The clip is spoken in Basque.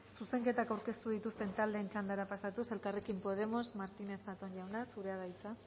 zuzenketak aurkeztu dituzten taldeen txandara pasatuz elkarrekin podemos martinez zatón jauna zurea da hitza